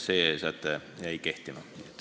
See säte jäi kehtima.